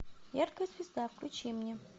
яркая звезда включи мне